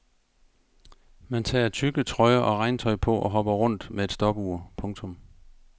Man tager tykke trøjer og regntøj på og hopper rundt med et stopur. punktum